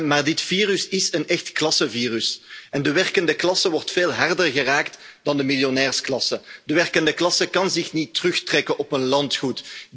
Maar dit virus is een echt klassenvirus en de werkende klasse wordt veel harder geraakt dan de miljonairsklasse. De werkende klasse kan zich niet terugtrekken op een landgoed.